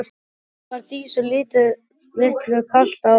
Þá var Dísu litlu kalt á báðum fótum.